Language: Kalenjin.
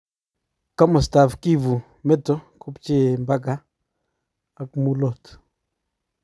kamastap Kivu meto kopchee imbageet ak Mulot